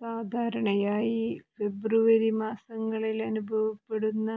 സാധാരണ ഫെബ്രുവരി മാസങ്ങളില് അനുവഭപ്പെടുന്ന